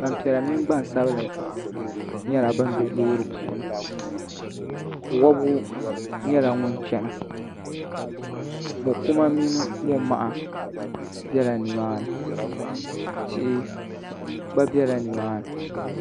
Gbampiɛla mini Gbansabili nyɛla ban be loori puuni wɔbigu nyɛla ŋun chana mɔ' kuma mini mɔ' maha bela nimaani